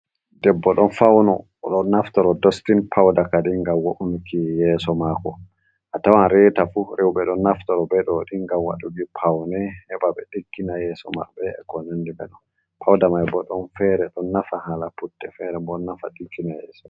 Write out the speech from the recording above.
Debbo ɗon fauno, o ɗo naftoro dostin pauda ka di ngam wo’unuki yeso mako. A tawan reta fu rewɓe ɗo naftoro be ɗo ni ngam waɗuki paune heɓa ɓe diggina yeso maɓɓe, e kon nandi ɓe ɗon. Pauda mai bo don fere ɗo nafa hala putte fere bo ɗo nafa hala ɗiggina yeso.